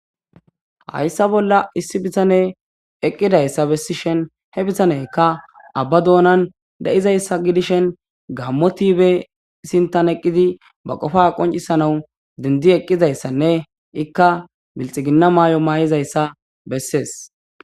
hayssa bolla issi bitane eqqidayssa bessishen he bitanekka abba doonan de7izayssa gidishen gammo tibee sintan eqqidi ba qofa qoncisanawu dindi eqqizayssanne ikka bilxiginna maay7o maa7izayssa bessees